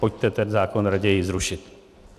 Pojďte ten zákon raději zrušit.